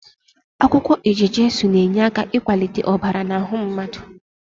Akwukwo eje-jesu na-enyeaka ikwalite obara n'ahu mmadu